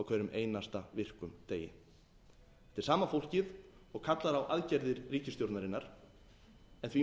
einasta virkum degi þetta er sama fólkið og kallar á aðgerðir ríkisstjórnarinnar en því